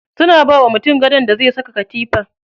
Suna bawa mutum gadon da zai saka katifa.